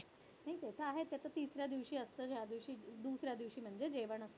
नाही तेचं आहे, तेचं तिसऱ्या दिवशी असतं, ज्यादिवशी दुसऱ्या दिवशी म्हणजे जेवण असतं.